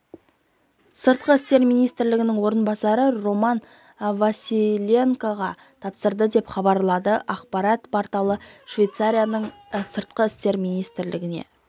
сыртқы істер министрінің орынбасары роман василенкоға тапсырды деп хабарлады ақпарат порталы швецияның сыртқы істер министрлігіне